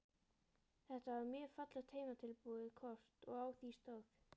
Þetta var mjög fallegt heimatilbúið kort og á því stóð